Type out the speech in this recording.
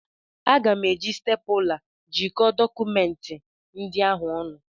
Aga m eji stepụla jikọọ dọkụmenti ndị ahụ ọnụ.